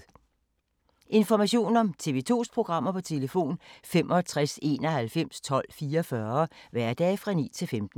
Information om TV 2's programmer: 65 91 12 44, hverdage 9-15.